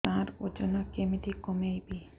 ସାର ଓଜନ କେମିତି କମେଇବି